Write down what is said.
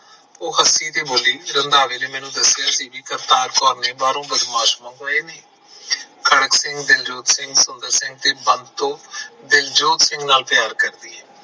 ਉਹ ਹੱਸੀ ਤੇ ਬੋਲੀ ਕਿ ਰੰਧਾਵੇ ਨੇ ਮੈਨੂੰ ਦੱਸਿਆ ਕਿ ਕਰਤਾਰ ਕੌਰ ਨੇ ਬਾਹਰੋ ਬਦਮਾਸ਼ ਬੁਲਾਏ ਨੇ ਖੜਕ ਸਿੰਘ ਦਿਲਜੋਤ ਸਿੰਘ ਤੇ ਸੰਦਰ ਸਿੰਘ ਤੇ ਬੰਤੋ ਦਿਲਜੋਤ ਸਿੰਘ ਨਾਲ ਪਿਆਰ ਕਰਦੀ ਐ